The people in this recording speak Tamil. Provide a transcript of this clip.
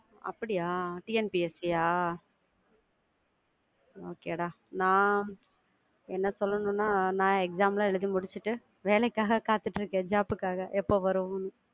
அப்படியா TNPSC யா Okay டா நான் என்ன சொல்லனும்னா நான் exam லாம் எழுதி முடிச்சிட்டு வேலைக்காக காத்துட்டு இருக்கேன் job புக்காக எப்போ வரும்ன்னு